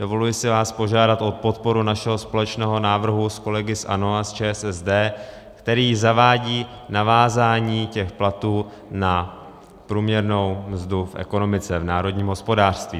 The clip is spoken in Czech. Dovoluji si vás požádat o podporu našeho společného návrhu s kolegy z ANO a z ČSSD, který zavádí navázání těch platů na průměrnou mzdu v ekonomice, v národním hospodářství.